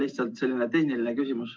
Lihtsalt selline tehniline küsimus.